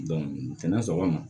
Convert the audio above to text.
sɔgɔma